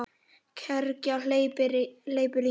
Kergja hleypur í mig.